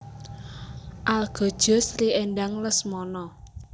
Algojo Sri Endang Lesmono